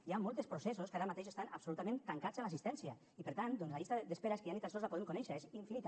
hi ha molts dels processos que ara mateix estan absolutament tancats a l’assistència i per tant la llista d’espera és ja ni tan sols la podem conèixer és infinita